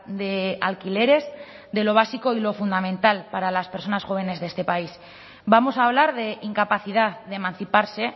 de alquileres de lo básico y lo fundamental para las personas jóvenes de este país vamos a hablar de incapacidad de emanciparse